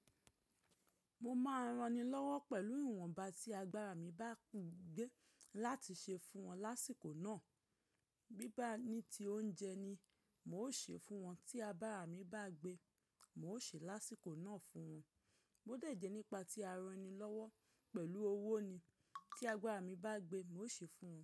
Mo máa ń rani lọ́wọ́ pẹ̀lú ìwọ̀nba tí agbára mi bá gbé láti ṣe fún wọn lásìkò náà. Bí bá ní ti oúnjẹ ni, mo ṣe fún wọn. Tí abara mi bá gbé, mo ṣe lásìkò náà fún wọn. Bó dè jè nípa tí ara ni lọ́wọ́ pẹ̀lú owó ni, tí agbára mi bá gbé, mo ṣe fún wọn.